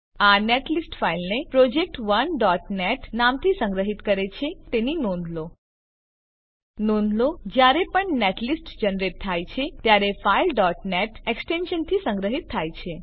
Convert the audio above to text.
આ નેટલિસ્ટ ફાઈલને project1નેટ નામથી સંગ્રહિત કરે છે તેની નોંધ લો નોંધ લો કે જયારે પણ નેટલિસ્ટ જનરેટ થાય છે ત્યારે ફાઈલ net એક્સટેન્શનથી સંગ્રહિત થાય છે